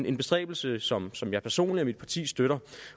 en bestræbelse som som jeg personligt og mit parti støtter